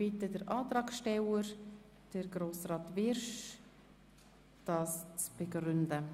Ich bitte den Antragsteller, Grossrat Wyrsch, den Antrag zu begründen.